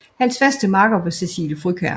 Hans faste makker var Cecilie Frøkjær